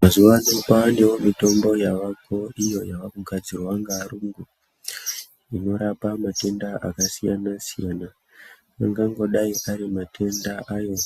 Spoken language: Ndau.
Mazuwano kwava nemitombo iriko iyo yavakugadzirwa nevarungu inorapa matenda akasiyana siyana. Anganogai arimatenda ayo